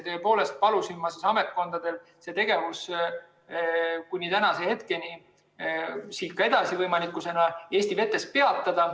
Tõepoolest palusin ma ametkondadel see tegevus kuni tänaseni, võimalikult aga siit ka edasi, Eesti vetes peatada.